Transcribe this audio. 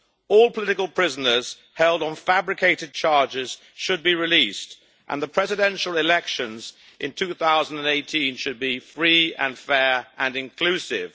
All political prisoners held on fabricated charges should be released, and the Presidential elections in 2018 should be free, fair and inclusive.